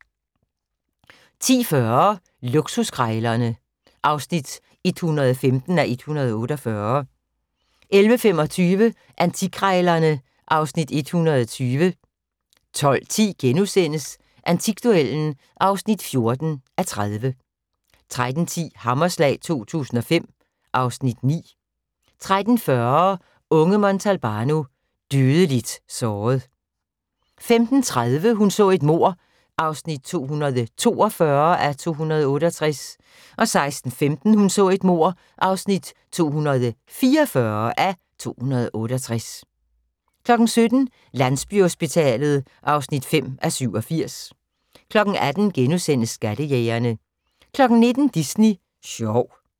10:40: Luksuskrejlerne (115:148) 11:25: Antikkrejlerne (Afs. 120) 12:10: Antikduellen (14:30)* 13:10: Hammerslag 2005 (Afs. 9) 13:40: Unge Montalbano: Dødeligt såret 15:30: Hun så et mord (242:268) 16:15: Hun så et mord (244:268) 17:00: Landsbyhospitalet (5:87) 18:00: Skattejægerne * 19:00: Disney sjov